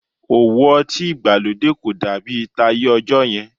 Òwò ọtí ìgbàlódé kò dàbí táyé ọjọ́ yẹn